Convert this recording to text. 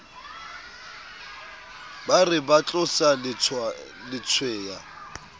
ba re ba tlosa letshweya